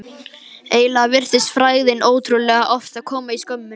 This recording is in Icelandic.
Eiginlega virtist frægðin ótrúlega oft koma í skömmtum.